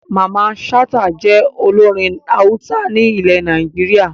Mamman Shata jẹ́ olórin Hausa ní ile Nàìjíríà